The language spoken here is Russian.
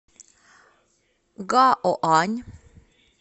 гаоань